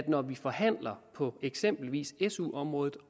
når vi forhandler på eksempelvis su området